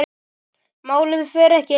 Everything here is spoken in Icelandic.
Málið fer ekki lengra.